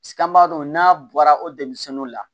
an b'a dɔn n'a bɔra o denmisɛnninw la